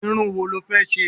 Irun wo lọ fẹ́ ṣe?